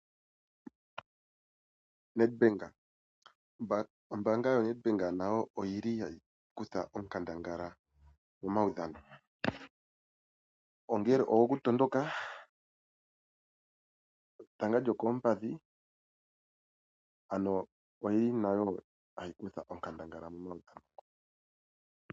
Nedbank ombanga yoNedbank nayo oyili hayi kutha onkandangala momawudhano ongele ogoku tondoka, etanga lyookompadhi ano oyili nayo hayi kutha onkandangala momawudhano.